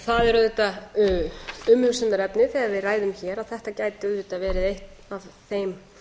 það er auðvitað umhugsunarefni þegar við ræðum hér að þetta gæti auðvitað verið eitt af þeim